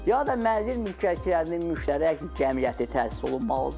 ya da mənzil mülkiyyətçilərinin müştərək cəmiyyəti təsis olunmalıdır.